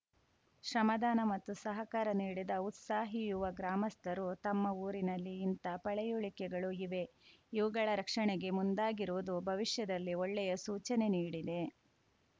ಶ್ರಮದಾನ ಮತ್ತು ಸಹಕಾರ ನೀಡಿದ ಉತ್ಸಾಹಿ ಯುವ ಗ್ರಾಮಸ್ಥರು ತಮ್ಮ ಊರಿನಲ್ಲಿ ಇಂಥ ಪಳೆಯುಳಿಕೆಗಳು ಇವೆ ಇವುಗಳ ರಕ್ಷಣೆಗೆ ಮುಂದಾಗಿರುವುದು ಭವಿಷ್ಯದಲ್ಲಿ ಒಳ್ಳೆಯ ಸೂಚನೆ ನೀಡಿದೆ